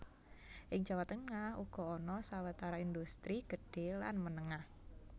Ing Jawa Tengah uga ana sawetara indhustri gedhé lan menengah